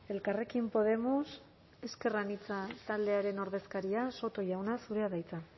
elkarrekin podemos ezker anitza taldearen ordezkaria soto jauna zurea da hitza